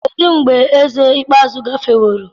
kedụ mgbe eze ikpeazụ gafeworo?